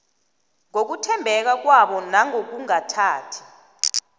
ngokuthembeka kwabo nangokungathathi